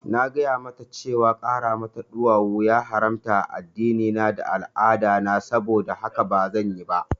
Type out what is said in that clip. Na gaya mata cewa ƙara mata ɗuwawu ya haramta a addinina da al'adana, saboda haka bazan yi ba